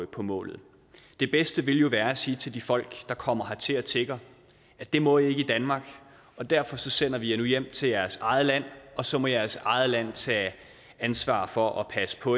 på målet det bedste ville jo være at sige til de folk der kommer hertil og tigger det må i ikke i danmark og derfor sender vi jer nu hjem til jeres eget land og så må jeres eget land tage ansvar for at passe på